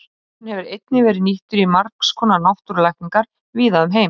Ávöxturinn hefur einnig verið nýttur í margs konar náttúrulækningar víða um heim.